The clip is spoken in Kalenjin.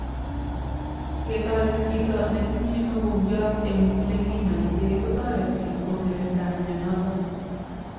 Ketaret chito netinye mokongiat eng lekinyaisyei kotareti ko kirinda mionotok